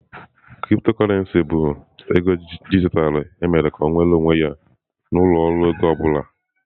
Cryptocurrency bụ ego dijitalụ emere ka ọ nweere onwe ya na ụlọ ọrụ ego anụ ahụ ọ bụla.